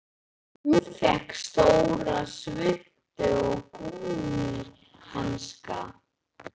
Hún fékk stóra svuntu og gúmmíhanska.